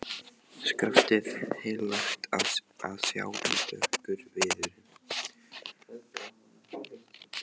Skaftið heillegt að sjá en dökkur viðurinn.